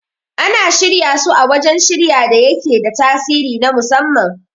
Ana shirya su a wajan shirya da yake da tasiri na musamman